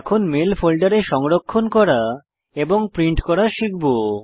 এখন মেল ফোল্ডারে সংরক্ষণ করা এবং প্রিন্ট করা শিখব